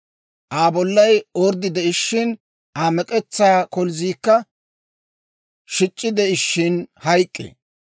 Aa bollay orddi de'ishshin, Aa mek'etsaa kolzziikka shic'c'i de'ishiina hayk'k'ee.